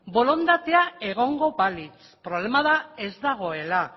borondatea egongo balitz problema da ez dagoela